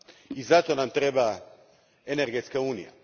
I zato nam treba energetska unija.